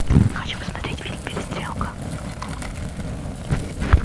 хочу посмотреть фильм перестрелка